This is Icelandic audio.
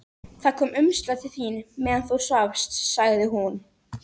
Það kom umslag til þín meðan þú svafst, sagði hún.